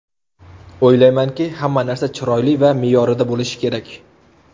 O‘ylaymanki, hamma narsa chiroyli va me’yorida bo‘lishi kerak.